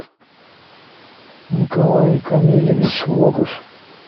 николай камилевич логаш